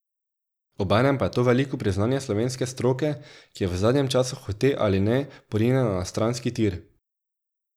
Ob enem pa je to veliko priznanje slovenske stroke, ki je v zadnjem času hote ali ne porinjena na stranski tir.